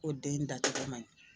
Ko den dacogo maɲi